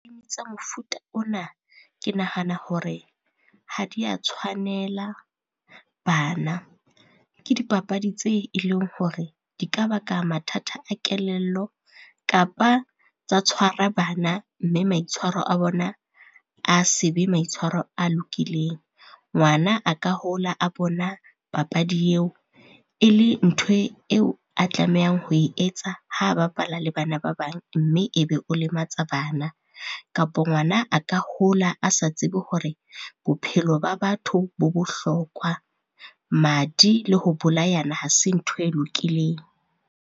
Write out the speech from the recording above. Game tsa mofuta ona, ke nahana hore ha dia tshwanela bana, ke dipapadi tse e leng hore di ka baka mathata a kelello kapa tsa tshwara bana, mme maitshwaro a bona a se be maitshwaro a lokileng. Ngwana a ka hola a bona papadi eo e le ntho eo, a tlamehang ho e etsa ha bapala le bana ba bang mme e be o lematsa bana. Kapo ngwana a ka hola a sa tsebe hore bophelo ba batho bo bohlokwa. Madi le ho bolayana ha se ntho e lokileng.